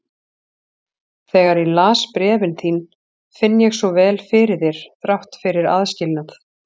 Þegar ég les bréfin þín finn ég svo vel fyrir þér þrátt fyrir aðskilnað.